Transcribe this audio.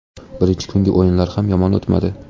Birinchi kungi o‘yinlar ham yomon o‘tmadi.